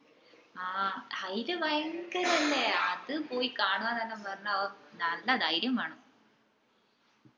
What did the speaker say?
ആഹ് അയിൽ ഭയങ്കരം അല്ലെ അത് പോയി കാണുവന്നേല്ലോം പറഞ്ഞാ ഓഹ്‌ നല്ല ധൈര്യം വേണം